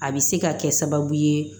A bɛ se ka kɛ sababu ye